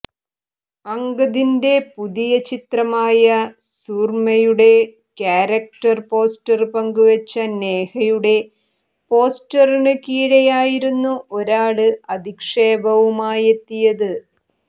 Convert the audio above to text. അങ്കദിന്റെ പുതിയ ചിത്രമായ സൂര്മ്മയുടെ ക്യാരക്ടര് പോസ്റ്റര് പങ്കുവെച്ച നേഹയുടെ പോസ്റ്റിന് കീഴെയായിരുന്നു ഒരാള് അധിക്ഷേപവുമായെത്തിയത്